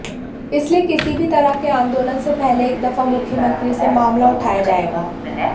इसलिए किसी भी तरह के आंदोलन से पहले एक दफा मुख्यमंत्री से मामला उठाया जाएगा